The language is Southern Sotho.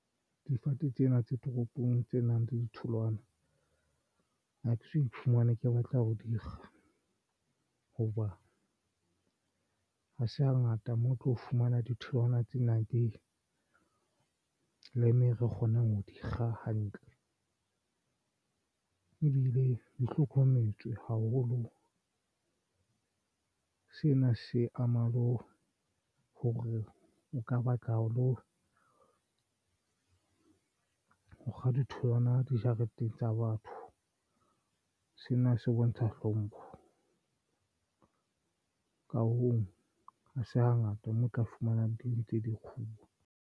Difate tsena tse toropong tse nang le ditholwana akeso iphumana ke batla ho dikga hoba ha se hangata mo o tlo fumana. Ditholwana tsena ke leeme re kgonang ho di kga hantle ebile di hlokometswe haholo. Sena se amala le hore o ka batla ho kga ditholwana dijareteng tsa batho. Sena se bontsha hlompho ka hoo ha se hangata mo o tla fumana di ntse di kguwa.